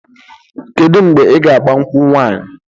Kedu mgbe i ga agba nkwụ nwanyị?